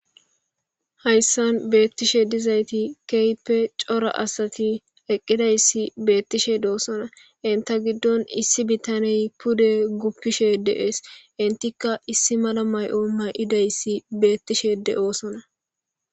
Hayssan bettishe dizzayti kehhippe coora assati eqqidayssi bettishe dossona eenta giidon issi biittaney puude bolla guffishe dess eentika issi malla mayo mayidayssi bettishe deossona.